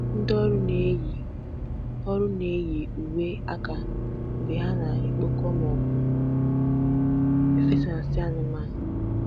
Ndị ọrụ na-eyi ọrụ na-eyi uwe aka mgbe ha na-ekpokọ maọbụ efesa nsị anụmanụ.